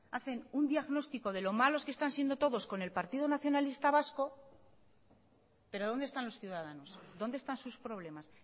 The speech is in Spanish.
hacen un diagnóstico de lo malos que están siendo todos con el partido nacionalista vasco pero dónde están los ciudadanos dónde están sus problemas